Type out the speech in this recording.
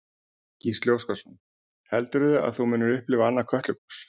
Gísli Óskarsson: Heldurðu að þú munir upplifa annað Kötlugos?